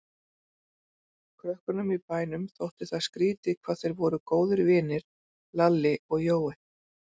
Krökkunum í bænum þótti það skrýtið hvað þeir voru góðir vinir, Lalli og Jói.